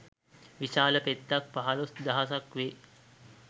විශාල පෙත්තක් පහළොස් දහසක් වේ.